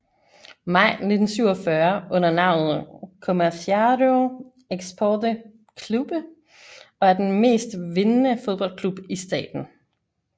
Maj 1947 under navnet Comerciário Esporte Clube og er den mest vindende fodboldklub i staten